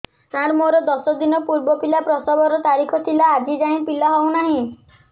ସାର ମୋର ଦଶ ଦିନ ପୂର୍ବ ପିଲା ପ୍ରସଵ ର ତାରିଖ ଥିଲା ଆଜି ଯାଇଁ ପିଲା ହଉ ନାହିଁ